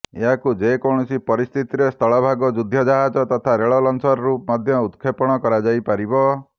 ଏହାକୁ ଯେକୌଣସି ପରିସ୍ଥିତିରେ ସ୍ଥଳଭାଗ ଯୁଦ୍ଧ ଜାହାଜ ତଥା ରେଳ ଲଞ୍ଚରରୁ ମଧ୍ୟ ଉତକ୍ଷେପଣ କରାଯାଇପାରିବ